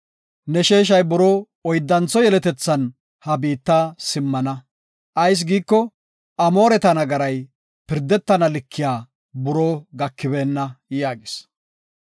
Ne sheeshay buroo oyddantho yeletethan ha biitta simmana. Ayis giiko, Amooreta nagaray pirdetana likiya buroo gakibeenna” yaagis.